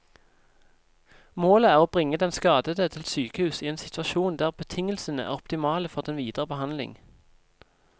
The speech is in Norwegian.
Målet er å bringe den skadede til sykehus i en situasjon der betingelsene er optimale for den videre behandling.